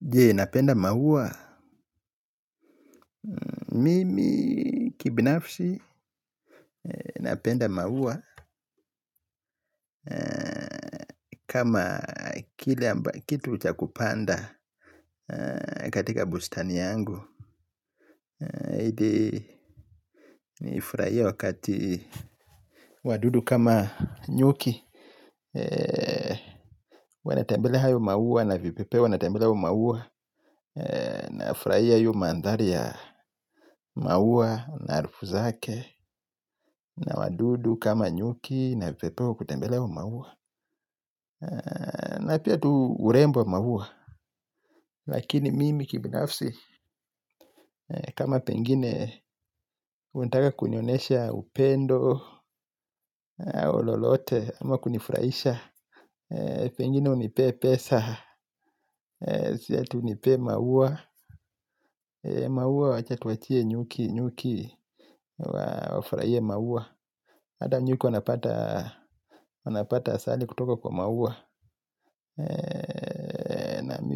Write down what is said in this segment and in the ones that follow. Jee napenda maua, mimi kibinafsi napenda maua kama kitu cha kupanda katika bustani yangu ili nifurahie wakati wadudu kama nyuki wanatembelea hayo maua na vipepeo wanatembelea hayo maua. Nayafurahia hiyo mandhari ya maua, na harufu zake. Na wadudu kama nyuki na vipepeo kutembelea hayo maua. Na pia tu urembo wa maua. Lakini mimi kibinafsi kama pengine unataka kunionyesha upendo lolote ama kunifurahisha. Pengine unipee pesa. Sio ati unipe maua. Maua wacha tuachie nyuki nyuki. Wafurahie maua. Hata nyuki wanapata. Wanapata asali kutoka kwa maua.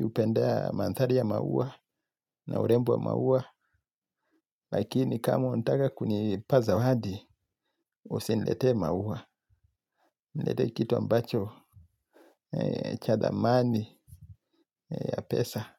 Hupenda manthari ya maua. Na urembo wa maua. Lakini kama unataka kunipa zawadi. Usiniletee maua. Niletee kitu ambacho cha thamani ya pesa.